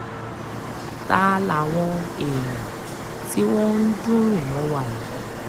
ta làwọn èèyàn tí wọ́n ń dùnrùn mọ́ wa yìí